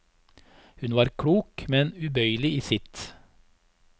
Hun var klok, men ubøyelig i sitt.